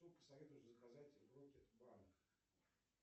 что посоветуешь заказать в рокет банк